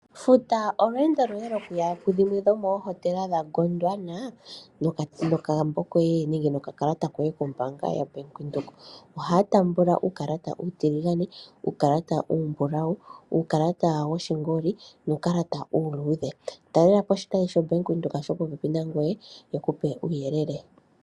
Futa oolwendo loye lokuya ku dhimwe dho moohotela dha Gondnawa nokambo koye nenge nokakalata kombaanga yaBank Windhoek, ohaya tambula uukalata uutiligane, uukalata uumbulawu, uukalata wo shingoli nuukalata uuludhe. talelapo oshitayi sho Bank Windhoek sho popepi na ngweye shikupe uuyelele.